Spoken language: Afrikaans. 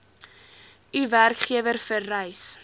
u werkgewer vereis